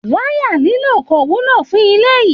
Waya líló kò wúlò fún ilé yìí.